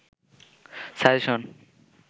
suggestion